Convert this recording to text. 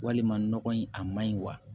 Walima nɔgɔ in a ma ɲi wa